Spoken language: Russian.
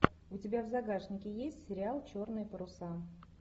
у тебя в загашнике есть сериал черные паруса